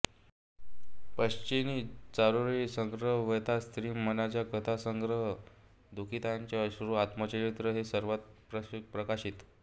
पक्षिणि चारोळी संग्रह व्यथा स्री मनाच्या कथा संग्रह दुखीताचे अश्रू आत्मचरित्र हे सर्व प्रकाशित